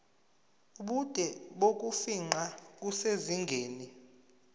ubude bokufingqa kusezingeni